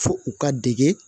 Fo u ka dege